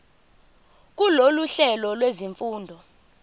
kulolu hlelo lwezifundo